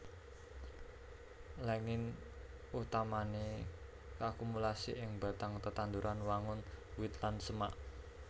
Lignin utamané kaakumulasi ing batang tetanduran wangun wit lan semak